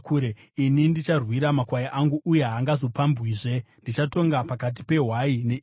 ini ndicharwira makwai angu, uye haangazopambwizve. Ndichatonga pakati pehwai neimwe hwai.